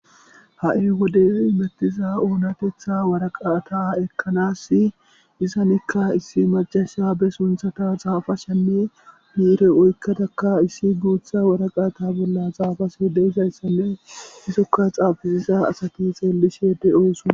ha7i wodey mettiza oonatetha waraqata ekkanas izanikka issi majasha be sunthata xaafashenne diire oykkadakka issi guutha waraqaata bolla xaafase de izayssanne isokka xaafisiza asati xeellishe de7ooson